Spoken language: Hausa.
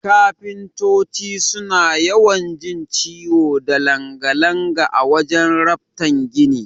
Kafintoti suna yawan jin ciwo da langa-langa a wajan raftan gini.